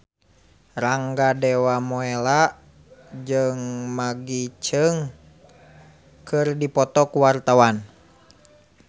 Rangga Dewamoela jeung Maggie Cheung keur dipoto ku wartawan